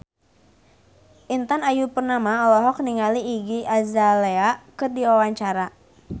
Intan Ayu Purnama olohok ningali Iggy Azalea keur diwawancara